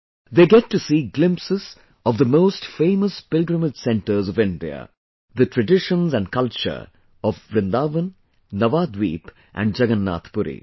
They get to see glimpses of the most famous pilgrimage centres of India the traditions and culture of Vrindavan, Navaadweep and Jagannathpuri